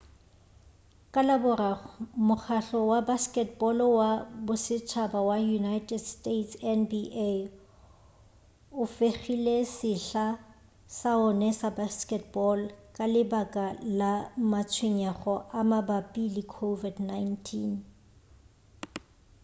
ka laboraro mokgahlo wa basketball wa bosetšhaba wa united state nba o fegile sehla sa ona sa basketball ka lebaka la matshwenyego a mabapi le covid-19